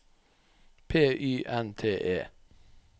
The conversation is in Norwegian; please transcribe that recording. P Y N T E